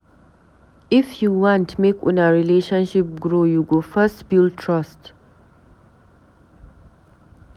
If you want make una relationship grow, you go first build trust.